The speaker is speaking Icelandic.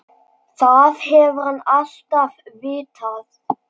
Það hefur hann alltaf vitað.